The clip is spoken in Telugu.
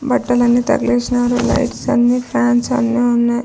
బట్టలన్నీ తగిలేసినారు లైట్స్ అన్ని ఫాన్స్ అన్ని వున్నాయ్.